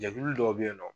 Jɛkulu dɔw bɛ yen nɔ